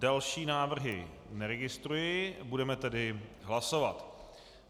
Další návrhy neregistruji, budeme tedy hlasovat.